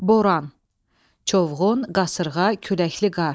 Boran, çovğun, qasırğa, küləkli qar.